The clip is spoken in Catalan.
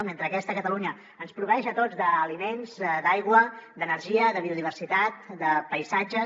mentre aquesta catalunya ens proveeix a tots d’aliments d’aigua d’energia de biodiversitat de paisatges